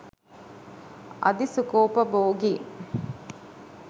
අධි සුඛෝපභෝගී